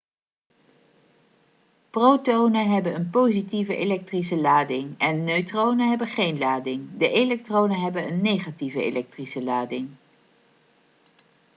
protonen hebben een positieve elektrische lading en neutronen hebben geen lading de elektronen hebben een negatieve elektrische lading